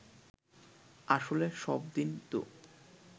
আসলে সব দিন তো